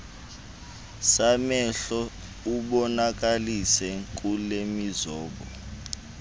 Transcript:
samehlo ubonakalise kulemizobo